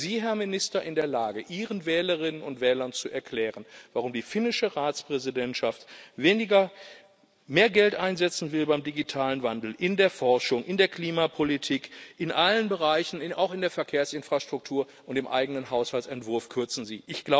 Wären Sie, Herr Minister, in der Lage, ihren Wählerinnen und Wählern zu erklären, warum die finnische Ratspräsidentschaft mehr Geld einsetzen will beim digitalen Wandel, in der Forschung, in der Klimapolitik, in allen Bereichen, auch in der Verkehrsinfrastruktur, und den eigenen Haushaltsentwurf kürzen Sie?